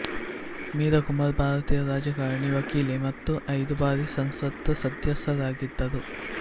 ಮೀರಾ ಕುಮಾರ್ ಭಾರತೀಯ ರಾಜಕಾರಣಿ ವಕೀಲೆ ಮತ್ತು ಐದು ಬಾರಿ ಸಂಸತ್ ಸದಸ್ಯರಾಗಿದ್ದರು